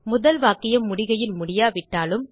முதல் வாக்கியம் முடிகையில் முடியாவிட்டாலும்